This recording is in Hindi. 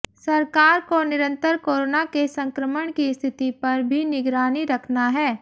सरकार को निरंतर कोरोना के संक्रमण की स्थिति पर भी निगरानी रखना है